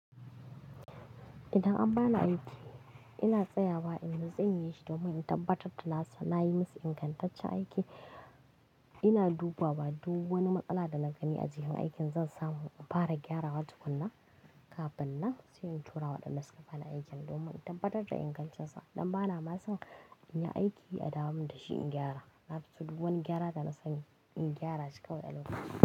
Idan an bani aiki, ina tsayawa, inda zan yi shi domin in tabbatar da na yi masa ingantaccen aiki. Ina dubawa duk wani matsala da na gani a cikin aikin zan samu in fara gyarawa tukuna kafin na tura wa ɗan wasu kafana aikin, domin in tabbatar da ingantaccensa. Dan bana ma son in yi aiki a damu da shi in gyara. Na fi so duk wani gyara da na sani in gyara shi kawai da launuka.